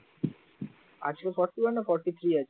আজকে forty one না forty three আছে